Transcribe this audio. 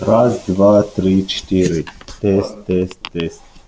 раз два три четыре тэц тэц тэц